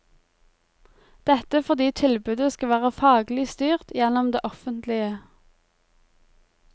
Dette fordi tilbudet skal være faglig styrt gjennom det offentlige.